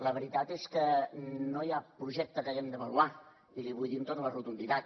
la veritat és que no hi ha projecte que haguem d’avaluar i li vull dir amb tota la rotunditat